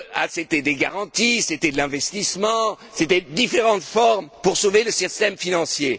C'étaient des garanties, c'était de l'investissement, c'étaient différentes formes pour sauver le système financier.